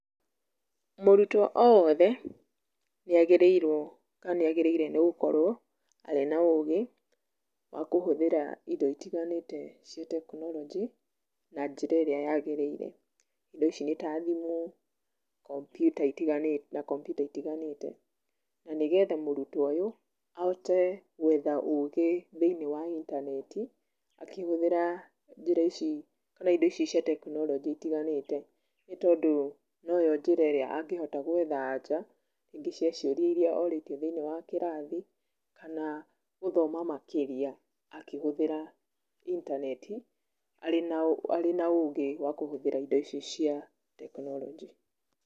Mũrutwo o wothe nĩ agĩrĩirwo kana nĩ agĩrĩire ni gũkorwo arĩ na ũgĩ wa kũhũthĩra indo itiganite cia tekinoronjĩ na njĩra ĩria yagĩrĩire, indo icĩ nĩ ta thimũ, kompiuta ĩtiganĩte na nĩgetha mũrutwo ũyũ ahote gũetha ũgi thĩiniĩ wa intaneti, akĩhuthira njĩra ici kana indo ici cia tekinoronjĩ itiganĩte, nĩ tondũ no yo njĩra ĩria angĩhota guetha aja ya ciũria iria orĩtio thĩiniĩ wa kĩrathi, kana gũthoma makĩria akĩhuthira intaneti arĩ na ũgĩ wa kũhũthĩra indo ici cia tekinoronjĩ.